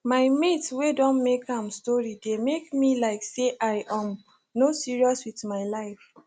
my mate way don make am story dey make me like say i um no serious with my life